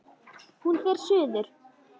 Hún fer suður.